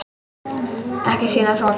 Ekki sýna hroka!